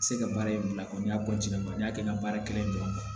Se ka baara in bila kɔni y'a n'i y'a kɛ ni baara kɛlɛ ye dɔrɔn